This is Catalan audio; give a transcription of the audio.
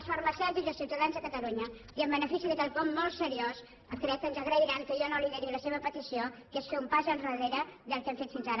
els farmacèutics i els ciutadans de catalunya i en benefici de quelcom molt seriós crec que ens agrairan que jo no lideri la seva petició que és fer un pas endarrere del que hem fet fins ara